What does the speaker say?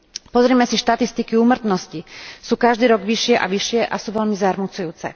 Pozrime si štatistiky úmrtnosti sú každý rok vyššie a vyššie a sú veľmi zarmucujúce.